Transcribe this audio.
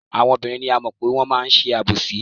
Àwọn obìnrin ni a mọ̀ pé wọ́n máa ń ṣe àbòsí.